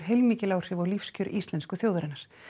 heilmikil áhrif á lífskjör íslensku þjóðarinnar